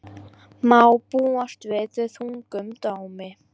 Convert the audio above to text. Má búast við þungum dómi